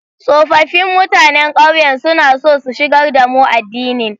Tsofaffin mutanen ƙauyen suna so su shigar da mu addinin.